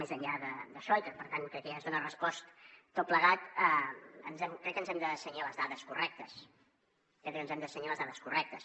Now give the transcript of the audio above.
més enllà d’això i que per tant crec que ja es dona resposta a tot plegat crec que ens hem de cenyir a les dades correctes crec que ens hem de cenyir a les dades correctes